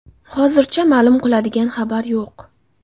Hozircha ma’lum qiladigan xabar yo‘q.